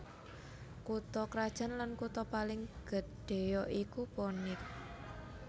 Kutha krajan lan kutha paling gedhéya iku Phoenix